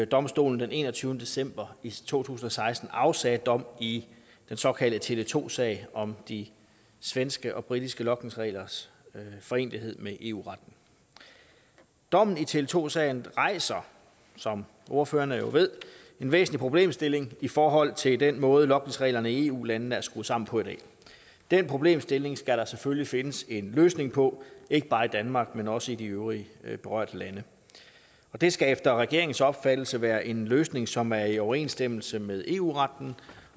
domstolen den enogtyvende december to tusind og seksten afsagde dom i den såkaldte tele2 sag om de svenske og britiske logningsreglers forenelighed med eu retten dommen i tele2 sagen rejser som ordførerne jo ved en væsentlig problemstilling i forhold til den måde logningsreglerne i eu landene er skruet sammen på i dag den problemstilling skal der selvfølgelig findes en løsning på ikke bare i danmark men også i de øvrige berørte lande det skal efter regeringens opfattelse være en løsning som er i overensstemmelse med eu retten